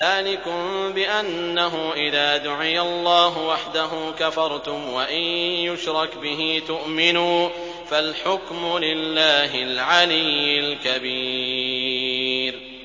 ذَٰلِكُم بِأَنَّهُ إِذَا دُعِيَ اللَّهُ وَحْدَهُ كَفَرْتُمْ ۖ وَإِن يُشْرَكْ بِهِ تُؤْمِنُوا ۚ فَالْحُكْمُ لِلَّهِ الْعَلِيِّ الْكَبِيرِ